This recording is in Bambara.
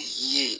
Ye